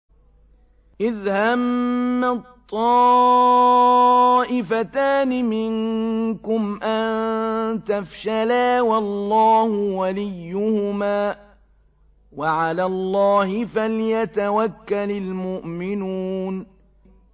إِذْ هَمَّت طَّائِفَتَانِ مِنكُمْ أَن تَفْشَلَا وَاللَّهُ وَلِيُّهُمَا ۗ وَعَلَى اللَّهِ فَلْيَتَوَكَّلِ الْمُؤْمِنُونَ